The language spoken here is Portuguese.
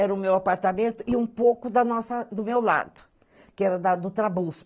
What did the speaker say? Era o meu apartamento e um pouco da nossa, do meu lado, que era do Trabuzzo.